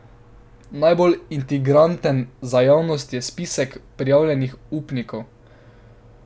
Najbolj intriganten za javnost je spisek prijavljenih upnikov.